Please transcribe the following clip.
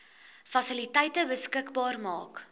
fasiliteite beskikbaar maak